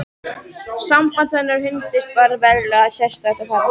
Samband hennar og hundsins varð verulega sérstætt og fallegt.